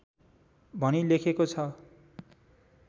भनी लेखेको छ